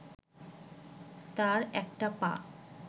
তার একটা পা